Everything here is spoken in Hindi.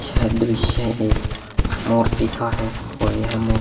यह दृश्य एक मूर्ति का है और यह मूर्ति --